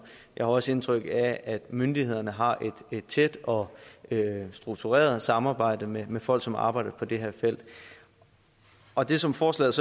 jeg har også indtryk af at myndighederne har et tæt og struktureret samarbejde med med folk som arbejder på det her felt og det som forslaget